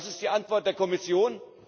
Was ist die Antwort der Kommission?